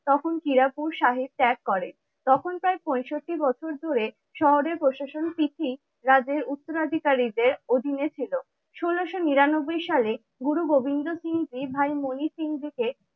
তখন কিরাপুর সাহেব ত্যাগ করে। তখন প্রায় পঁয়ষট্টি বছর ধরে শহরের প্রশাসন তিথি রাজের উত্তরাধিকারীদের অধীনে ছিল। ষোলোশো নিরানব্বই সালে গুরু গোবিন্দ সিংজি ভাই মনি সিংহজীকে